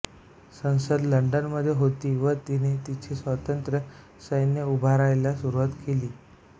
संसद लंडनमध्ये होती व तिने तिथे स्वतंत्र सैन्य उभारायला सुरूवात केली